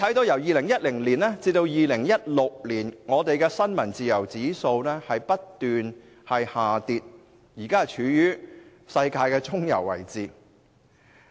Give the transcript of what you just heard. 由2010年至2016年，本港的新聞自由指數不斷下跌，現正處於世界的中游位置。